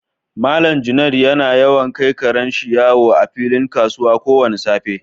Mallam Junaid yana yawan kai karen shi yawo a filin kasuwa ko wani safe.